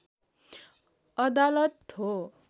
अदालत हो